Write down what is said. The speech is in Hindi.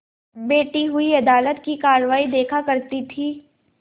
बैठी हुई अदालत की कारवाई देखा करती थी